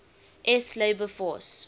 s labor force